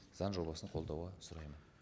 заң жобасын қолдауға сұраймын